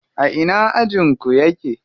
A ina ajin ku yake?